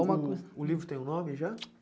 É uma coisa... O o livro tem um nome já?